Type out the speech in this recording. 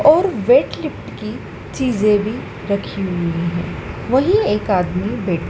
और weight lift की चीजे भी रखी हुई है वही एक आदमी--